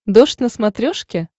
дождь на смотрешке